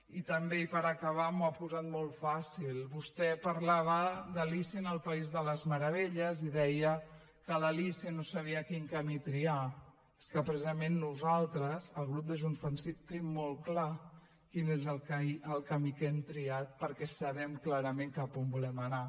i també i per acabar m’ho ha posat molt fàcil vostè parlava d’de les meravelles i deia que l’alícia no sabia quin camí triar és que precisament nosaltres el grup de junts pel sí tenim molt clar quin és el camí que hem triat perquè sabem clarament cap a on volem anar